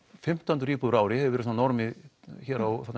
fimmtán hundruð íbúðir á ári það hefur verið normið hér á